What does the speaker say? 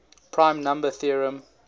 prime number theorem